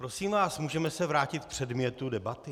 Prosím vás, můžeme se vrátit k předmětu debaty?